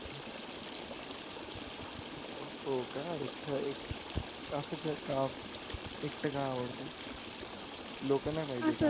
हो का एकट एक असं का? एकट का आवडतो. लोक नाही पाहिजेत.